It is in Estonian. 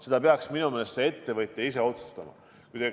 Seda peaks minu meelest see ettevõtja ise otsustama.